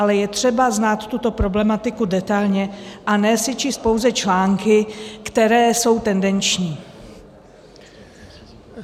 Ale je třeba znát tuto problematiku detailně, a ne si číst pouze články, které jsou tendenční.